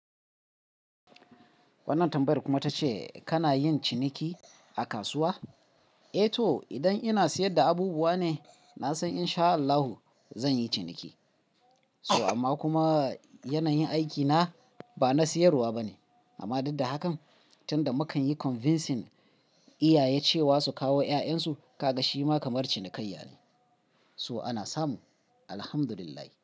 Wannan tambayar kuma ta ce kana yin ciniki a kasuwa? Eh to, idan ina sayar da abubuwa ne, na san in sha Allahu zan yi ciniki. So amma kuma yanayin aikina ba na sayarwa ba ne. Amma daddahakan, can da mukan yi convincing iyaye cewa su kawo 'ya'yansu, kaga shi ma kamar cinikayya ne. So ana samu, Alhamdulillah.